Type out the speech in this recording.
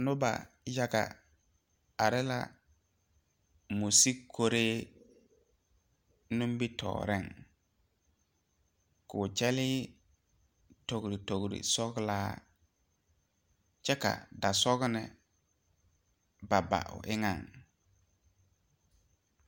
Noba yaga are la moɔ sige kori nimitɔɔre koo kyɛle togre togre sɔglaa kyɛ ka daasɔgne ba ba o eŋa.